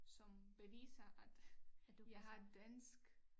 Som beviser at jeg har dansk